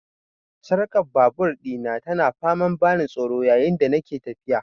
Sarkar babur dina tana ta faman ban tsoro yayin da nake tafiya.